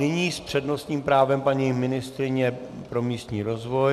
Nyní s přednostním právem paní ministryně pro místní rozvoj.